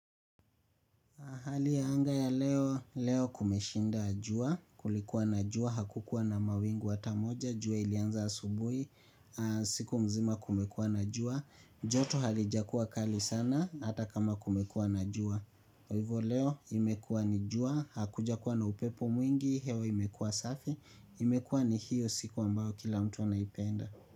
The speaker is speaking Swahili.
Hali ya anga ya leo, leo kumeshinda jua, kulikuwa na jua, hakukuwa na mawingu hata moja, jua ilianza asubuhi, siku mzima kumekuwa na jua, joto halijakuwa kali sana, hata kama kumekuwa na jua. Kwa hivyo leo, imekuwa ni jua, hakujakuwa na upepo mwingi, hewa imekuwa safi, imekuwa ni hiyo siku ambayo kila mtu anaipenda.